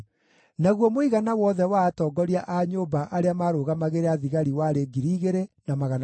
Naguo mũigana wothe wa atongoria a nyũmba arĩa maarũgamagĩrĩra thigari warĩ 2,600.